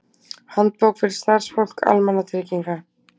Handbók fyrir starfsfólk almannatrygginga.